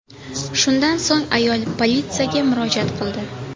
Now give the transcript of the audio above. Shundan so‘ng ayol politsiyaga murojaat qildi.